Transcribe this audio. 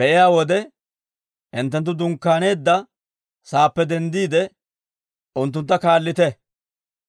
be'iyaa wode, hinttenttu dunkkaaneedda sa'aappe denddiide, unttuntta kaallite.